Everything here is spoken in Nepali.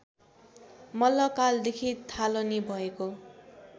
मल्लकालदेखि थालनी भएको